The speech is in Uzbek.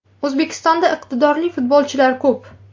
O‘zbekistonda iqtidorli futbolchilar ko‘p.